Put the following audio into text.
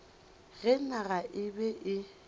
ge naga e be e